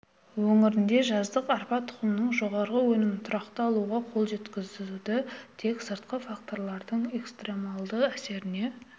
өңірінде жаздық арпа тұқымынан жоғары өнімін тұрақты алуға қол жеткізуді тек сыртқы факторлардың экстремалды әсеріне